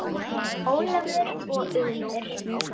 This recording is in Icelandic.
Ólafur og Unnur.